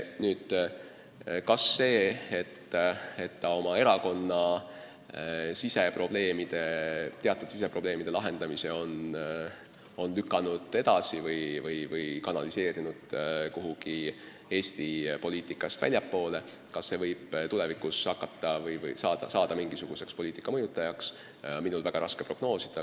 Seda, kas see, et ta oma erakonna teatud siseprobleemide lahendamise on lükanud edasi või kanaliseerinud kuhugi Eesti poliitikast väljapoole, võib tulevikus hakata kuidagi poliitikat mõjutama, on minul väga raske prognoosida.